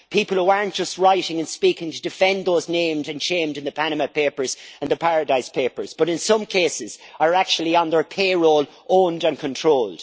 People who aren't just writing and speaking to defend those named and shamed in the Panama papers and the Paradise papers but in some cases are actually on their payroll, owned and controlled.